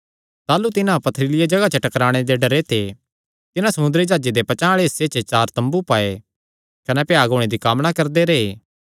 ताह़लू तिन्हां पथरीलिया जगाह च टकराणे दे डरे ते तिन्हां समुंदरी जाह्जे दे पचांह़ आल़े हिस्से चार तम्बू पाये कने भ्याग होणे दी कामना करदे रैह्